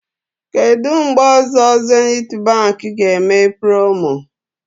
Kedụ mgbe ọzọ Zenith Baankị ga-eme promo?